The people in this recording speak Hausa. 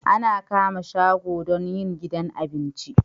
Ana kama shago don yin gidan abinci